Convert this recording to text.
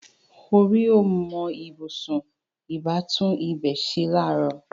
Orí ò mọ ibùsùn; ìbá tún ibẹ̀ ṣe láàárọ̀